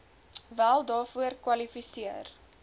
wel daarvoor kwalifiseer